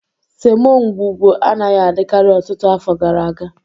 Semo ngwugwu anaghị adịkarị ọtụtụ afọ gara aga